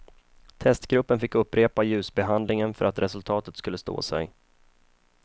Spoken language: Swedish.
Testgruppen fick upprepa ljusbehandlingen för att resultatet skulle stå sig.